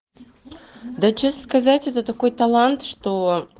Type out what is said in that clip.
да честно сказать это такой талант что